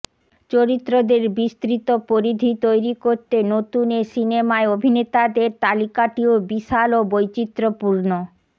চরিত্রদের বিস্তৃত পরিধি তৈরি করতে নতুন এ সিনেমায় অভিনেতাদের তালিকাটিও বিশাল ও বৈচিত্রপূর্ণ